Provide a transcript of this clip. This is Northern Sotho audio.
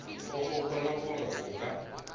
o gopola gore o ka